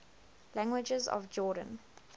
languages of jordan